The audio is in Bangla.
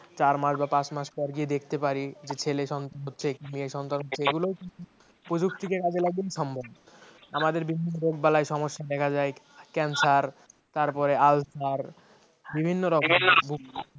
চার মাস বা পাঁচ মাস পরে দেখতে পারি যে ছেলে সন্তান হচ্ছে কি মেয়ে সন্তান হচ্ছে এগুলো কিন্তু প্রযুক্তিকে কাজে লাগিয়ে একদম সম্ভব আমাদের বিভিন্ন রোগ বালাই সমস্যা দেখা যায়, ক্যান্সার, তার পরে আলসার বিভিন্ন রকমে